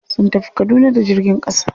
Sun tafi kaduna da jirgin ƙasa.